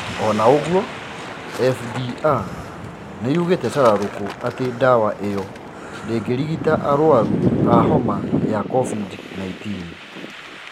Ona ũgwo, FDA nĩĩgite shararũku ati dawa iyo ndĩgĩrigita arwaru a Covid-19 coronavirus.